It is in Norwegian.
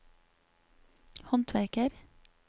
håndverker